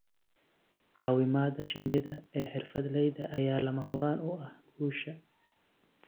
Caawimada shinnida ee xirfadleyda ayaa lama huraan u ah guusha.